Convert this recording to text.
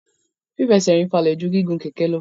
Fífẹsẹ̀rìn falẹ̀ ju gígun kẹ̀kẹ́ lọ.